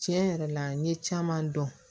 Tiɲɛ yɛrɛ la n ye caman dɔn